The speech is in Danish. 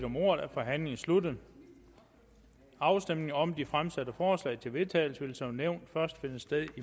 om ordet er forhandlingen sluttet afstemningen om de fremsatte forslag til vedtagelse vil som nævnt først finde sted i